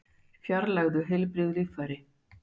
Fjarlægðu heilbrigð líffæri